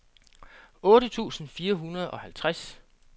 otte tusind fire hundrede og halvtreds